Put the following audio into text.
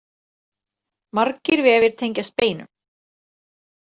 Margir vefir tengjast beinum.